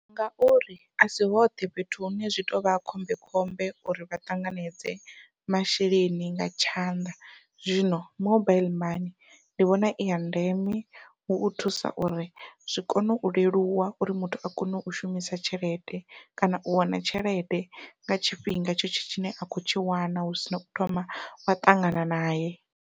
Ngauri a si hoṱhe fhethu hune zwi tou vha khombekhombe uri vha tanganedze masheleni nga tshanḓa. Zwino, mobile money ndi vhona iya ndeme hu u thusa uri zwi kone u leluwa uri muthu a kone u shumisa tshelede kana u wana tshelede nga tshifhinga tshetsho tshine a khou tshi wana hu sina u thoma wa ṱangana nae.